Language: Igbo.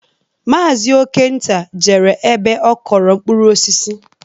Maazi Okenta jere ebe ọ kọrọ mkpụrụ osisi